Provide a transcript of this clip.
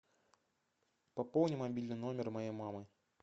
пополни мобильный номер моей мамы